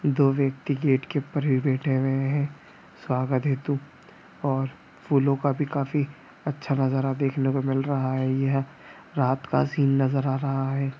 दो व्यक्ति गेट के ऊपर पे बैठे हुए हैं स्वागत हेतु और फूलो का भी काफी अच्छा नज़ारा देखने को मिल रहा है | यह रात का सीन नज़र आ रहा है।